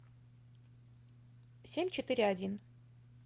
семь четыре один